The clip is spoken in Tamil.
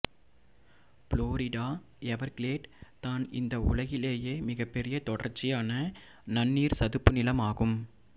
ஃபுளாரிடா எவர்கிலேட் தான் இந்த உலகிலேயெ மிகப்பெரிய தொடர்ச்சியான நன்னீர் சதுப்புநிலம் ஆகும்